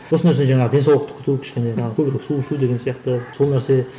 осы нәрсе жаңағы денсаулықты күту кішкене көбірек су ішу деген сияқты сол нәрсе